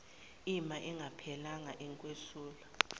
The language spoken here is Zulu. ima ingaphelelanga ukwesula